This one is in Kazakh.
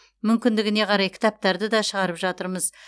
мүмкіндігіне қарай кітаптарды да шығарып жатырмыз